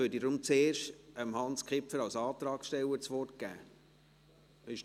– Dann gebe ich zuerst Hans Kipfer als Antragsteller das Wort.